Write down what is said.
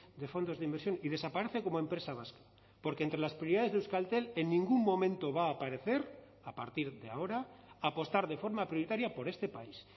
de fondos de inversión y desaparece como empresa vasca porque entre las prioridades de euskaltel en ningún momento va a aparecer a partir de ahora a apostar de forma prioritaria por este país